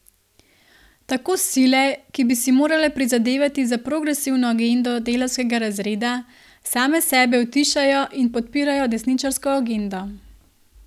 Tako sile, ki bi si morale prizadevati za progresivno agendo delavskega razreda, same sebe utišajo in podpirajo desničarsko agendo.